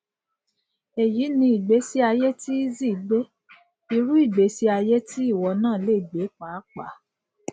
èyí ni ìgbésí ayé ti eazi gbé irú ìgbésí ayé tí ìwọ náà lè gbé pàápàá